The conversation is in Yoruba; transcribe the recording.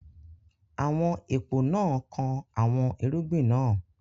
Àwọn èpò náà kan àwọn irúgbìn náà.